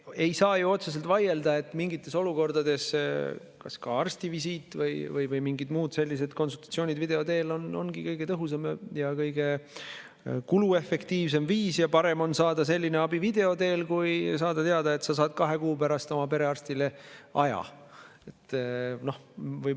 Ei saa ju otseselt vaielda, et mingites olukordades ka arstivisiit või mingid muud sellised konsultatsioonid video teel ongi kõige tõhusam ja kõige kuluefektiivsem viis ja parem on saada selline abi video teel kui saada teada, et sa saad kahe kuu pärast oma perearstile aja.